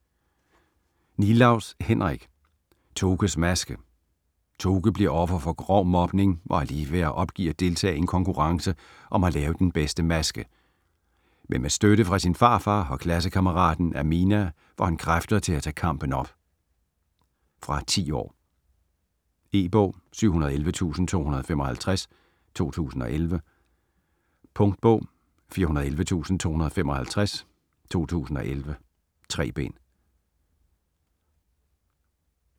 Nilaus, Henrik: Tokes maske Toke bliver offer for grov mobning og er lige ved at opgive at deltage i en konkurrence om at lave den bedste maske. Men med støtte fra sin farfar og klassekammeraten Amina får han kræfter til at tage kampen op. Fra 10 år. E-bog 711255 2011. Punktbog 411255 2011. 3 bind.